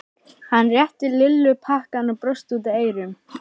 Hann rétti Lillu pakkann og brosti út að eyrum.